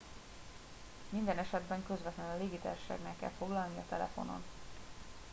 minden esetben közvetlenül a légitársaságnál kell foglalnia telefonon